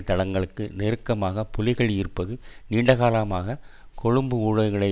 தளங்களுக்கு நெருக்கமாக புலிகள் இருப்பது நீண்டகாலமாக கொழும்பு ஊடகங்களில்